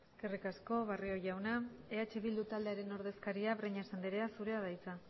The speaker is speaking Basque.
eskerrik asko barrio jauna eh bildu taldearen ordezkaria breñas andrea zurea da hitza